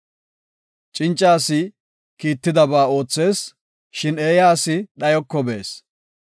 Cinca asi kiittidaba oothees; shin eeya asi dhayoko bees.